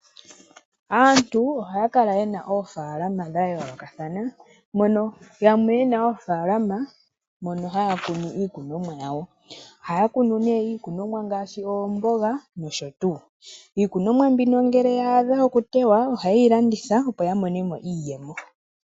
Aantu ohaya kala ye na oofaalama dha yoolokathana mono yamwe ye na oofaalama mono haya kunu iikunonwa yawo ohaya kunu mo iikunonwa ngaashi oomboga noshotu. Iikunonwa mbino ngele ya adha okutewa oha yeyi landitha opo ya mone mo iiyemo.